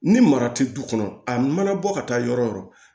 Ni mara tɛ du kɔnɔ a mana bɔ ka taa yɔrɔ yɔrɔ